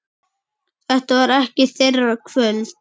Þetta var ekki þeirra kvöld.